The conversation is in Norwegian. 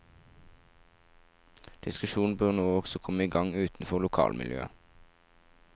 Diskusjonene bør nå også komme i gang utenfor lokalmiljøet.